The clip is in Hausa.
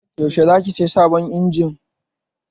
Yaushe za ki saya sabon injin?